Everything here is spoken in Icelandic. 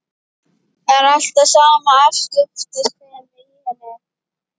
Það er alltaf sama afskiptasemin í henni.